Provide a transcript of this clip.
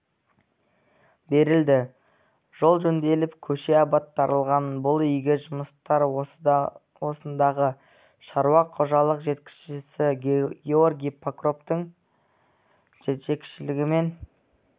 берілді жол жөнделіп көше абаттандырылған бұл игі жұмыстар осындағы шаруа қожалық жетекшісі георгий прокоптың жетекшілігімен